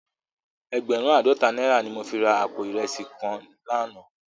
Ègbèrùn àádòtá nàirá ni mó fi rá àpó irèsí kán làná